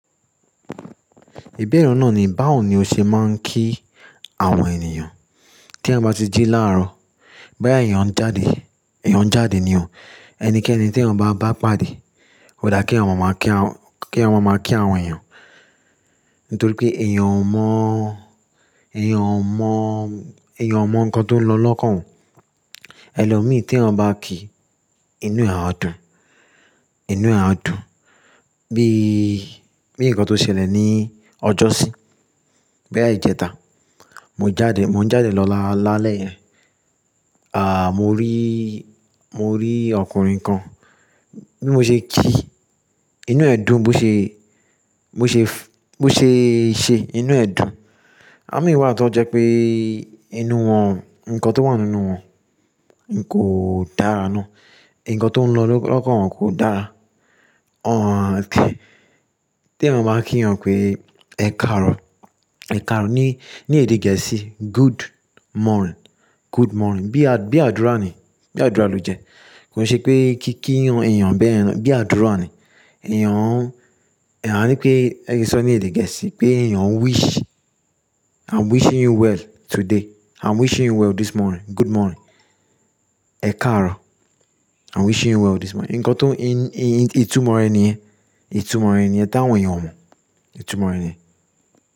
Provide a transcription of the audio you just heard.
Ìbẹ̀re náà ni báwo ni ó ṣe máa ń kí àwọn ènìyàn. Tí a bá ti jí láàárọ̀, bo ya eeyàn jáde, èèyàn jáde ni o, ẹnikẹ́ni tí èèyàn bá pàdé, ó dá kí eeyan n máa máa kí àwọn èèyàn. Nítorí pé èèyàn ò mọ̀, èèyàn ò mọ̀, èèyàn ò mọ̀ nǹkan tó ń lọ lọ́kàn òun. Ẹ̀lọ́ mìí tí èèyàn bá kí inú èèyàn á dùn, inú èèyàn á dùn. Bí, bí nǹkan tó ṣẹlẹ̀ ní ọjọ́sí, bá ìjẹta, mo jáde, mò ń jáde lọ lálẹ́, à, mo rí, mo rí ọkùnrin kan, bí mo ṣe kí inú ẹ̀ dùn, bó ṣe, bó ṣe, bó ṣe ṣé inú ẹ̀ dùn. Àmì ìwà tó jẹ́ pé inú wọn, nǹkan tó wà nínú wọn kò dára ná. Ìnǹkan tó ń lọ lọ́kàn wọn kò dára. Ọ̀n, tí èèyàn bá kí èèyàn pé "Ẹ káàárọ̀", "Ẹ káàárọ̀" ní èdè gẹ̀ẹ́sì "Good morning", "Good morning". Bí àdúrà ni, bí àdúrà ló jẹ́. Kò ṣe pé kí, kí èèyàn bẹ́ẹ̀ lọ, bí àdúrà ni. Ẹ̀yàn, àní pé ẹ̀yí sọ ní èdè gẹ̀ẹ́sì pé èèyàn wish, I'm wishing you well today, I'm wishing you well this morning, good morning. Ẹ káàárọ̀, I'm wishing you well this morning. Ìnǹkan tó ń, ìtumọ̀ rẹ̀ ni, ìtumọ̀ rẹ̀ ni ẹ dáhùn èèyàn mọ̀. Ìtumọ̀ rẹ̀ ni.